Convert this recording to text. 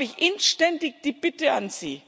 Darum habe ich inständig die Bitte an Sie